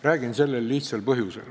Räägin sellel lihtsal põhjusel.